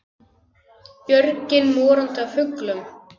Björgin morandi af fuglum.